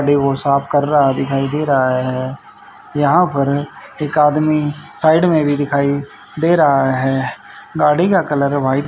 वो साफ कर रहा है दिखाई दे रहा है यहां पर एक आदमी साईड में भी दिखाई दे रहा है गाड़ी का कलर व्हाइट --